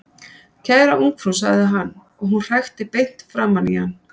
Kæra ungfrú sagði hann, og hún hrækti beint framan í hann.